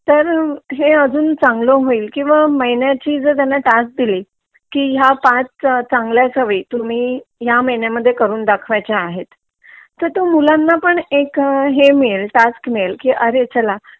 तर हे अजून चांगला होईल किंवा महिन्याची जर त्यांना टास्क दिली की ह्या पाच चांगल्या सवयी ह्या महिन्यामध्ये करून दाखवायच्या आहेत तर तो मुलाण पण एक हे मिळेल टास्क मिळेल की अरे चला